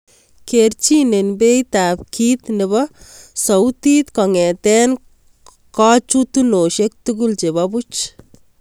Kerchinen beit ab kit nebo sauitit kong'eten kachutunoshek tugul cheba buuch